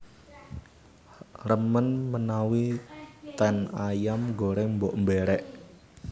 Remen menawi ten Ayam Goreng Mbok Berek